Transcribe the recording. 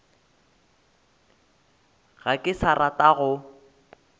ga ke sa rata go